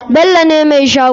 Bello ne mai shagon.